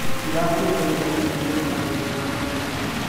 Ndĩramũrĩka gĩthomo gĩtũ na mathĩna ma kĩũteti.